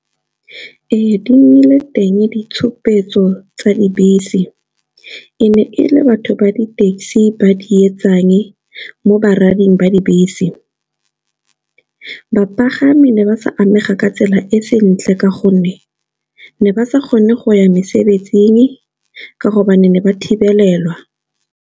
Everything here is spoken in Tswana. Ee, di nnile teng ditshupetso tsa dibese, e ne e le batho ba di-taxi ba di etsang mo ba rading ba dibese. Bapagami ne ba sa amega ka tsela e sentle ka gonne, ne ba sa kgone go ya mesebetsing ka gobane ne ba thibelelwa.